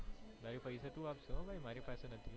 ભાઈ પૈસા તું આપશે મારી પાસે નથી